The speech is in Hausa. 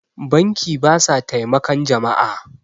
banki ba sa taimakan jama'a